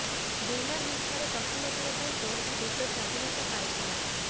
ବିନା ହିଂସାରେ ପ୍ରଥମ ଥର ପାଇଁ କୌଣସି ଦେଶ ସ୍ୱାଧୀନତା ପାଇଥିଲା